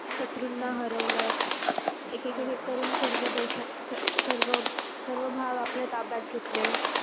शत्रूंना हरवलं एक एकीने करून सर्व देशा सर्व सर्व सर्व भाग आपल्या ताब्यात घेतले.